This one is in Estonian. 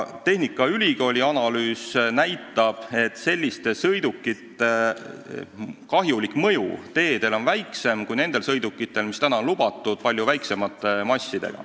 Tehnikaülikooli analüüs näitab, et selliste sõidukite kahjulik mõju teedele on väiksem kui nendel palju väiksema massiga sõidukitel, mis praegu on teedele lubatud.